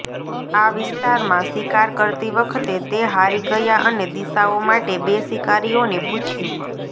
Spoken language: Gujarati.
આ વિસ્તારમાં શિકાર કરતી વખતે તે હારી ગયા અને દિશાઓ માટે બે શિકારીઓને પૂછ્યું